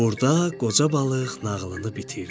Burda qoca balıq nağılını bitirdi.